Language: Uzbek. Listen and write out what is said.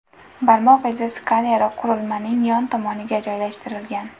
Barmoq izi skaneri qurilmaning yon tomoniga joylashtirilgan.